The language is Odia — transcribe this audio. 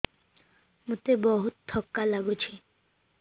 ମୋତେ ବହୁତ୍ ଥକା ଲାଗୁଛି